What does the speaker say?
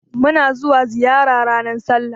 Muna zuwa ziyara ranar sallah